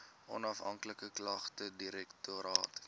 onafhanklike klagtedirektoraat